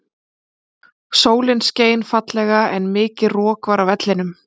Sólin skein fallega en mikið rok var á vellinum.